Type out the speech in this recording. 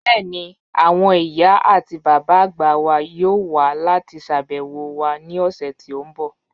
Bẹ́ẹ̀ni, awọn iyà ati baba agba wà yọọ̀ wà lati ṣàbẹwo wa ni ọṣẹ̀ ti n bọ́